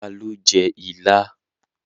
Ta lo jẹ́ ilá?